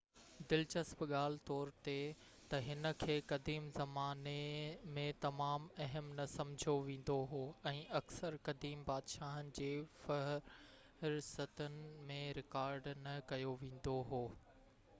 دلچسپ ڳالهه طور ته هن کي قديم زماني ۾ تمام اهم نه سمجهيو ويندو هو ۽ اڪثر قديم بادشاهن جي فهرستن ۾ رڪارڊ نه ڪيو ويندو هو